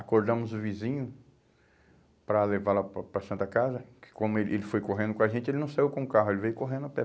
Acordamos o vizinho para levá-la para a para a Santa Casa, que como ele, ele foi correndo com a gente, ele não saiu com o carro, ele veio correndo a pé.